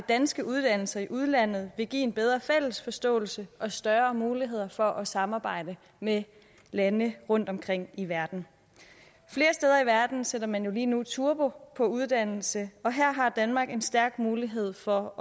danske uddannelser i udlandet vil give en bedre fælles forståelse og større muligheder for at samarbejde med lande rundtomkring i verden flere steder i verden sætter man jo lige nu turbo på uddannelse og her har danmark en stærk mulighed for